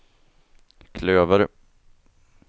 klöver